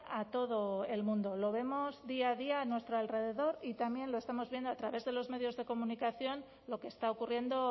a todo el mundo lo vemos día a día a nuestro alrededor y también lo estamos viendo a través de los medios de comunicación lo que está ocurriendo